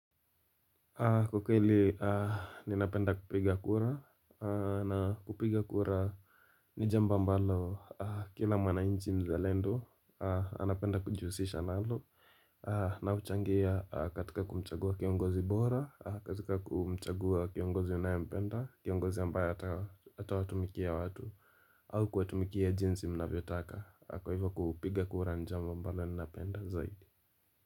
Kiukweli, ninapenda kupiga kura na kupiga kura ni jambo ambalo kila mwananchi mzalendo, anapenda kujihusisha nalo. Na huchangia katika kumchagua kiongozi bora, katika kumchagua kiongozi anayempenda, kiongozi ambaye atawatumikia watu au kawatumikia jinsi mnavyotaka kwa hivyo kupiga kura ni jambo ambalo ninapenda zaidi.